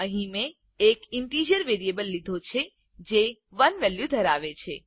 અહીં મેં એક ઈન્ટીજર વેરિયેબલ લીધો છે જે 1 વેલ્યુ ધરાવે છે